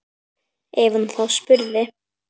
Ef hún þá spurði.